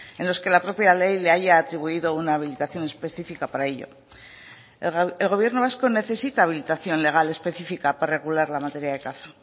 en los que la propia ley le haya atribuido una habilitación específica para ello el gobierno vasco necesita habilitación legal específica para regular la materia de caza